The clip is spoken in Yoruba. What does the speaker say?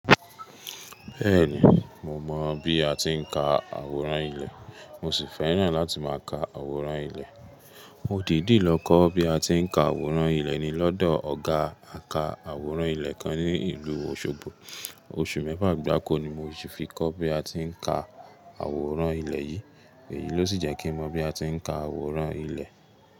Bẹ́ẹ̀ni, mo mọ̀ bí a ti ń ka àwòrán ilẹ̀, mo sì fẹ́ràn láti máa ka àwòrán ilẹ̀. Mo dìdí lọ kọ́ bí a ti ń ka àwòrán ilẹ̀ ní lọ́dọ̀ ọ̀gá àka àwòrán ilẹ̀ kan ní ìlú Òṣogbo. Oṣù mẹ́fà gbáko ni mo fi kọ́ bí a ti ń ka àwòrán ilẹ̀ yìí. Èyí ló sì jẹ́ kí n mọ bí a ti ń ka àwòrán ilẹ̀.